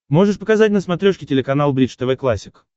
можешь показать на смотрешке телеканал бридж тв классик